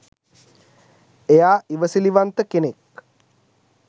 එයා ඉවසිලිවන්ත කෙනෙක්